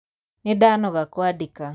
Nĩndanoga kwandĩka.